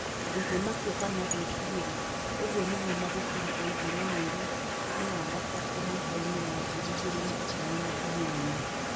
Ndingĩmakio kana ngwĩtigĩra", ũguo nĩguo Magufuli oigire mweri-inĩ wa gatatũ mwakainĩ wa ngiri igĩrĩ na ikũmi na inyanya.